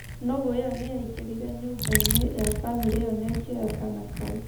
nũgũ ĩyo nĩ yaingĩrire nyũmba-inĩ ya famĩlĩ ĩyo na ĩkĩoya kaana kau.